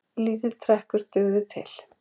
lítill trekkur dugði til